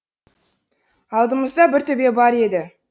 алдымызда бір төбе бар еді